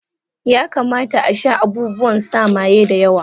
Ya kamata a sha abubuwan sa maye da yawa